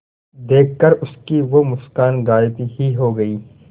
देखकर उसकी वो मुस्कान गायब ही हो गयी